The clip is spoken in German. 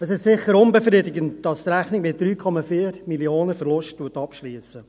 Es ist sicher unbefriedigend, dass die Rechnung mit 3,4 Mio. Franken Verlust abschliesst.